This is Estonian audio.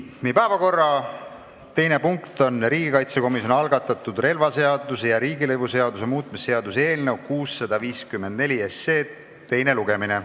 Meie päevakorra teine punkt on riigikaitsekomisjoni algatatud relvaseaduse ja riigilõivuseaduse muutmise seaduse eelnõu 654 teine lugemine.